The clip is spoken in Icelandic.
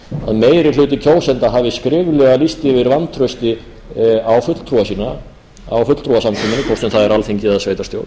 að meiri hluti kjósenda hafi skriflega lýst yfir vantrausti á fulltrúa sína á fulltrúasamkomunni hvort sem það er alþingi eða sveitarstjórn